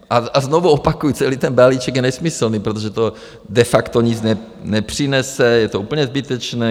A znovu opakuji, celý ten balíček je nesmyslný, protože to de facto nic nepřinese, je to úplně zbytečné.